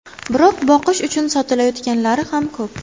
Biroq boqish uchun sotilayotganlari ham ko‘p.